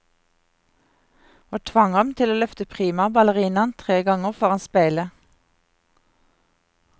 Og tvang ham til å løfte prima ballerinaen tre ganger foran speilet.